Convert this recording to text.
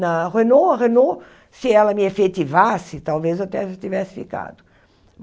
Na Renault, a Renault, se ela me efetivasse, talvez eu até tivesse ficado.